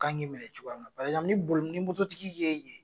K'an k'i minɛ cogoya ni boli ni mototigi y'e ye